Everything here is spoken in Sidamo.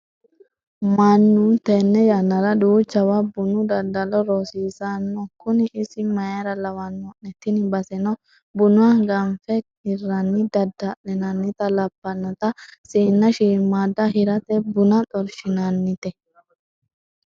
Mannu tene yannara duuchawa bunu daddalo roorsino kuni isi mayra lawano'ne, tini baseno buna ganfe hirani dadda'linannitta labbanote siina shiimada hirate buna xorshinannite.